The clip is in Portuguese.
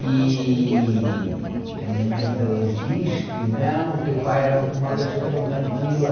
E... A minha mãe ainda hoje diz que, não, o teu pai era uma pessoa tão tranquila.